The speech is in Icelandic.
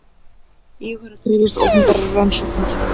Íhugar að krefjast opinberrar rannsóknar